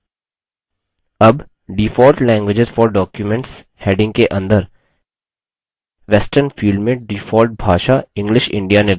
अब default languages for documents heading के अंदर western फील्ड में डिफॉल्ट भाषा english india निर्धारित है